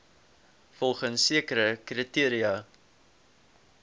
volgens sekere kriteria